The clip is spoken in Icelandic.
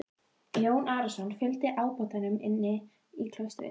Jón Arason fygldi ábótanum inn í klaustrið.